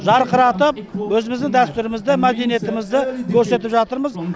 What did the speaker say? жарқыратып өзіміздің дәстүрімізді мәдениетімізді көрсетіп жатырмыз